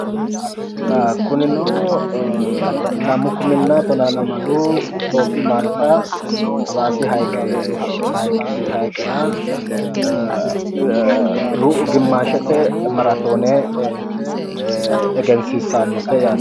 kunino lamu kuminna tonaa lamalu itiyophiyu malta hawaasi hayiiqera diru gimmaashete maratoone egensiiissannote yaate